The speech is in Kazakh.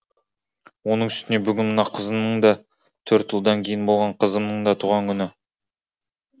оның үстіне бүгін мына қызымның да төрт ұлдан кейін болған қызымның да туған күні